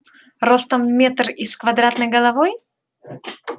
ростом в метр и с квадратной головой